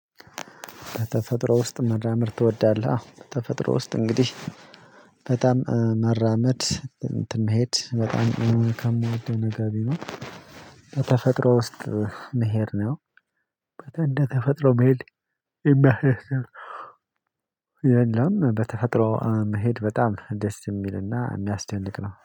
"በተፈጥሮ ውስጥ መራመድ ትወዳለህ?"። አዎ፣ በተፈጥሮ ውስጥ እንግዲህ በጣም መራመድ እንትን መሄድ በጣም እውነት ከምወደው ነገ ቢሆን በተፈጥሮ ውስጥ መሄድ ነው። እንደ ተፈጥሮ መሄድ የሚያስደስት የለም በተፈጥሮ መሄድ በጣም ደስ የሚልና የሚያስደንቅ ነው።